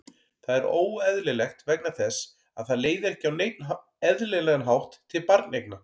Það er óeðlilegt vegna þess að það leiðir ekki á neinn eðlilegan hátt til barneigna.